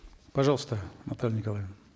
пожалуйста наталья николаевна